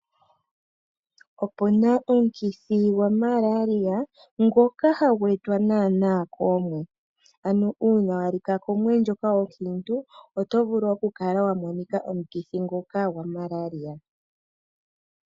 Opuna omukithi gwamalaria ngoka hagu etwa naana koomwe ano uuna walika komwe ndjoka onkiinu otovulu okukala wamonika omukithi nguka gwamalaria.